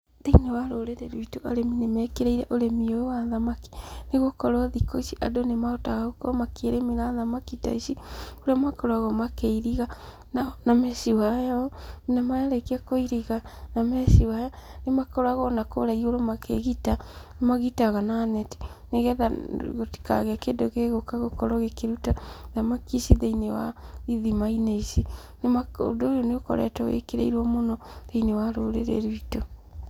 Thĩinĩ wa rũrĩrĩ rwitũ arĩmi nĩ mekĩrĩire ũrĩmi ũyũ wa thamaki, nĩgũkorwo thikũ ici andũ nĩ mahotaga gũkorwo makĩĩrĩmĩra thamaki ta ici, kũrĩa makoragwo makĩiriga na mesh wire, na marĩkia kũiriga na mesh wire, nĩ makoragwo ona kũrĩa igũru makĩgita, nĩ magitaga na neti nĩgetha gũtikagĩe kĩndũ gĩgũka gũkorwo gĩkĩruta thamaki ici thĩinĩ wa ithima-inĩ ici, ũndũ ũyũ nĩ ũkoretwo wĩkĩrĩirwo mũno thĩinĩ wa rũrĩrĩ rwitũ.